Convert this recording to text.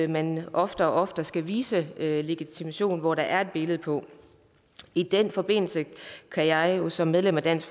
man oftere og oftere skal vise legitimation hvor der er et billede på i den forbindelse kan jeg som medlem af dansk